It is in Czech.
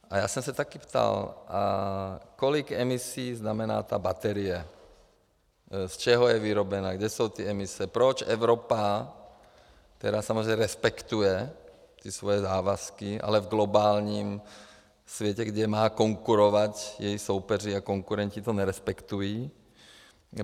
A já jsem se taky ptal, kolik emisí znamená ta baterie, z čeho je vyrobena, kde jsou ty emise, proč Evropa, která samozřejmě respektuje ty svoje závazky, ale v globálním světě, kde má konkurovat, její soupeři a konkurenti to nerespektují.